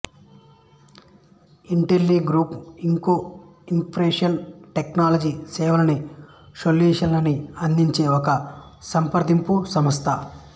Intelligroup Inc information technology సేవలని సొల్యూషన్లని అందించే ఒక సంప్రదింపు సంస్థ